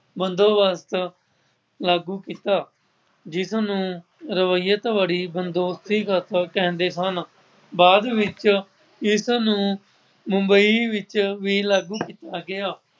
ਬੰਦੋਬਸਤ ਲਾਗੂ ਕੀਤਾ। ਜਿਸਨੂੰ ਰਵੀਅਤ ਬੜੀ ਬੰਦੋਸ਼ੀਗਤ ਕਹਿੰਦੇ ਹਨ। ਬਾਅਦ ਵਿੱਚ ਇਸਨੂੰ ਮੁੰਬਈ ਵਿੱਚ ਵੀ ਲਾਗੂ ਕੀਤਾ ਗਿਆ।